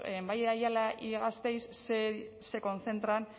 en valle de ayala y gasteiz se concentran